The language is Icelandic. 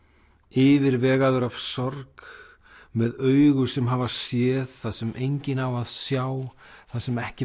yfirvegaður af sorg með augu sem hafa séð það sem enginn á að sjá það sem ekki